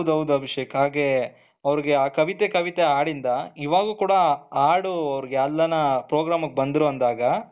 ಹೌದು ಹೌದು ಅಭಿಷೇಕ್ ಹಾಗೆ ಅವರಿಗೆ ಆ ಕವಿತೆ ಕವಿತೆ ಹಾಡಿಂದ ಇವಾಗ ಕೂಡ ಹಾಡು ಎಲ್ಲಿ ಅನ್ನ programಮಿಗೆ ಬಂದರು ಅಂದ್ಆಗ